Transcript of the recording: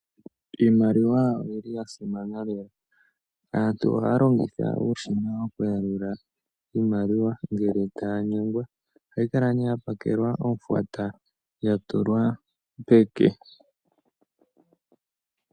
Iimaliwa oyili yasimana lela aantu oha longitha uushina oku yalula iimaliwa ngele tanyengwa, ohayi kala ne yapakelwa ohwata yatulwa peke.